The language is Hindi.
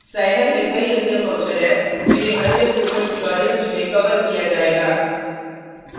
साईलैब में कई अन्य फंक्शन हैं जिन्हें अन्य स्पोकन ट्यूटोरियल्स में कवर किया जाएगा